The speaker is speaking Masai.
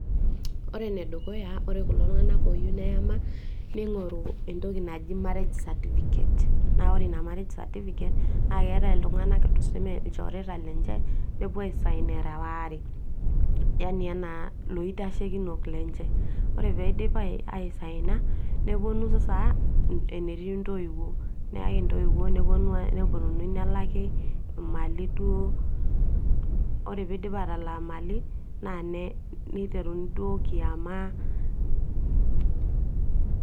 ore enedukuya ore kulo tung'anak oyieu neyama ning'oru entoki naji marriage certificate naa ore ina marriage certificate naa keetae iltung'anak tuseme ilchoreta lenje nepuo ae sign era waare yani enaa loitashekinok lenche ore peidip aisaina neponu sasa enetii intoiwuo neyai intoiwuo neponunui nelaki imali duo ore piidipi atalak imali naa niteruni duo kiama.